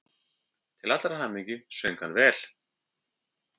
Til allrar hamingju söng hann vel!